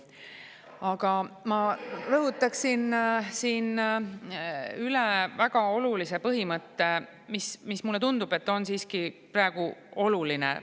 Aga ma rõhutaksin siin üle väga olulise põhimõtte, mis, mulle tundub, on siiski praegu oluline.